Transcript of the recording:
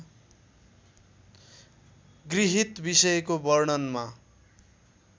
गृहीत विषयको वर्णनमा